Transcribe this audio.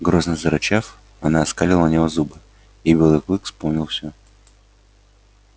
грозно зарычав она оскалила на него зубы и белый клык вспомнил всё